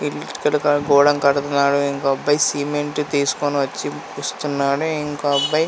it ఇటుకలతో గోడ కడుతున్నాడు.ఇంకో అబ్బాయి సిమెంట్ తీసుకుని వచ్చి ఇస్తున్నాడు.ఇంకో అబ్బాయి--